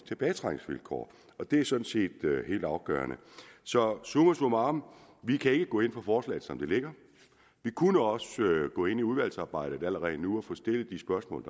tilbagetrækningsvilkår og det er sådan set helt afgørende så summa summarum vi kan ikke gå ind for forslaget som det ligger vi kunne også gå ind i udvalgsarbejdet allerede nu og stille de spørgsmål